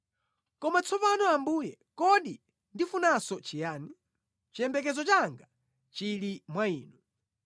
“Koma tsopano Ambuye kodi ndifunanso chiyani? Chiyembekezo changa chili mwa Inu.